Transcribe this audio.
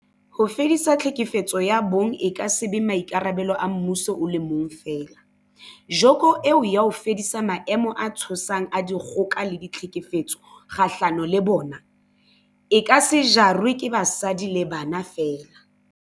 Ho fedisa tlhekefetso ya bong e ka se be maikarabelo a mmuso o le mong feela, joko eo ya ho fedisa maemo a tshosang a dikgoka le tlhekefetso kgahlano le bona, e ka se jarwe ke basadi le bana feela.